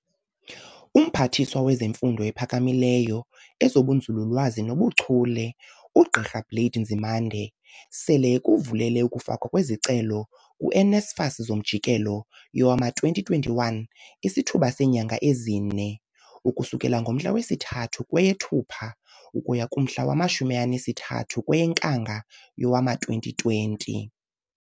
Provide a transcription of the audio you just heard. UMphathiswa wezeMfundo ePhakamileyo, ezobuNzulu-lwazi nobu Chule, uGqi Blade Nzi mande, sele ekuvulele ukufakwa kwezicelo ku-NSFAS zomjikelo wowama-2021 isithuba seenyanga ezine, ukusukela ngomhla wesi-3 kweyeThupha ukuya kumhla wama-30 kweyeNkanga yowama-2020.